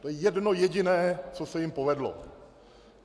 To je jedno jediné, co se jim povedlo.